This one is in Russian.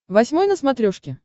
восьмой на смотрешке